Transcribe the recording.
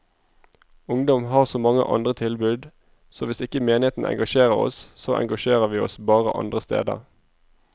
Ungdom har så mange andre tilbud, så hvis ikke menigheten engasjerer oss, så engasjerer vi oss bare andre steder.